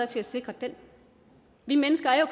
til at sikre den vi mennesker er jo